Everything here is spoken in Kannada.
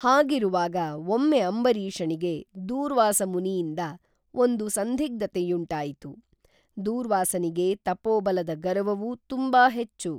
ಹಾಗಿರುವಾಗ ಒಮ್ಮೆ ಅಂಬರೀಷನಿಗೆ ದೂರ್ವಾಸ ಮುನಿಯಿಂದ ಒಂದು ಸಂಧಿಗ್ಧತೆ ಯುಂಟಾಯಿತು, ದೂರ್ವಾಸನಿಗೆ ತಪೋಬಲದ ಗರ್ವವು ತುಂಬ ಹೆಚ್ಚು